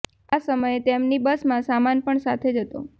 આ સમયે તેમની બસમાં સામાન પણ સાથે જ હતો